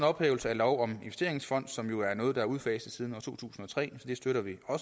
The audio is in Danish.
ophævelse af lov om investeringsfond som er noget der er udfaset siden to tusind og tre så det støtter vi